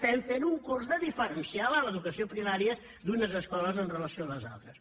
fem un curs de diferència a l’educació primària en unes escoles amb relació a les altres